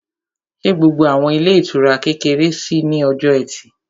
Ṣé gbogbo àwọn ilé ìtura kékeré ṣí ní ọjọ́ ẹtì?